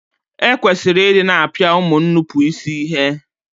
E kwesịrị I di na-apia ụmụ nnupuisi ihe.